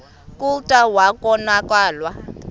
kclta wa konakala